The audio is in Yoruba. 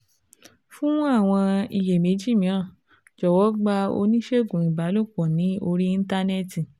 fún àwọn iyèméjì mìíràn, jọ̀wọ́ gba oníṣègùn ìbálòpọ̀ ní orí Íńtánẹ́ẹ̀tì